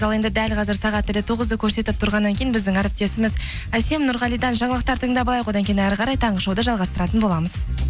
ал енді дәл қазір сағат тілі тоғызды көрсетіп тұрғаннан кейін біздің әріптесіміз әсем нұрғалиден жаңалықтар тыңдап алайық одан кейін әрі қарай таңғы шоуды жалғастыратын боламыз